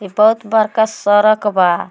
ई बहुत सरक बा।